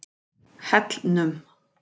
Hellnum